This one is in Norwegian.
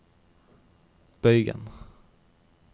bøygen